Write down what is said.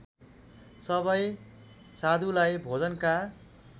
सबै साधुलाई भोजनका